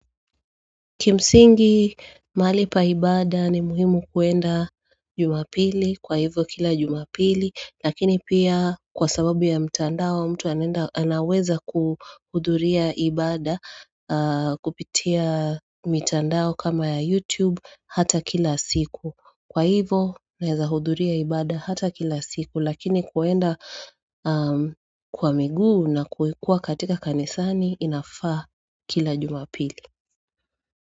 Kimsingi mali paibada ni muhimu kuenda jumapili kwa hivyo kila jumapili Lakini pia kwa sababu ya mtandao mtu anaweza kuhuduria ibada kupitia mtandao kama ya YouTube hata kila siku Kwa hivyo naeza huduria ibada hata kila siku lakini kuenda kwa miguu na kuikua katika kanisani inafaa kila jumapili.